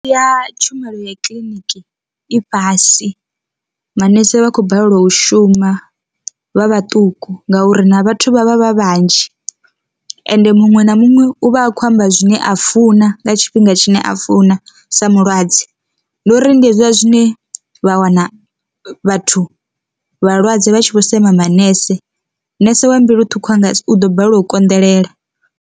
Ya tshumelo ya kiḽiniki i fhasi manese vha khou balelwa u shuma vha vhaṱuku ngauri na vhathu vha vha vha vhanzhi ende muṅwe na muṅwe u vha a khou amba zwine a fuwa nga tshifhinga tshine a funa sa mulwadze, ndi uri ndi hezwiḽa zwine vha wana vhathu vhalwadze vha tshi vho sema manese, nese wa mbilu ṱhukhu u ḓo balelwa u konḓelela.